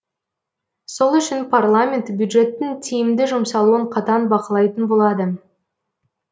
сол үшін парламент бюджеттің тиімді жұмсалуын қатаң бақылайтын болады